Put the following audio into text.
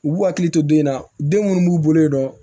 U b'u hakili to den in na den munnu b'u bolo yen nɔ